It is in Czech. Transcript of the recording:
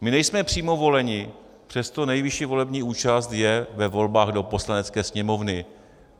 My nejsme přímo voleni, přesto nejvyšší volební účast je ve volbách do Poslanecké sněmovny.